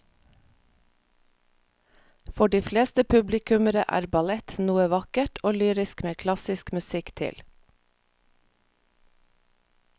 For de fleste publikummere er ballett noe vakkert og lyrisk med klassisk musikk til.